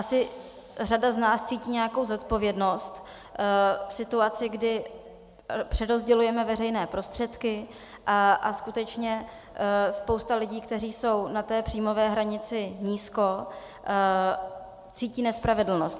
Asi řada z nás cítí nějakou zodpovědnost v situaci, kdy přerozdělujeme veřejné prostředky, a skutečně spousta lidí, kteří jsou na té příjmové hranici nízko, cítí nespravedlnost.